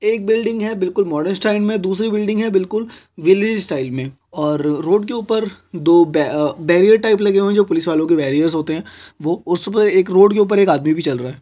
एक बिल्डिंग है बिल्कुल मॉडर्न स्टाइल में दूसरी बिल्डिंग है बिल्कुल विलेज स्टाइल में और रोड के ऊपर दो बी बेरिएर टाइप लगे हुए है जो पुलिस वालों की बैरियर्स होते है वो उसपे एक रोड के ऊपर में एक आदमी भी चल रहा हैं।